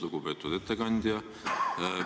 Lugupeetud ettekandja!